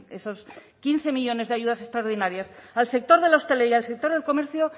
esos quince millónes de ayudas extraordinarias al sector de la hostelería y al sector del comercio